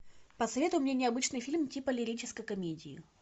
посоветуй мне необычный фильм типа лирической комедии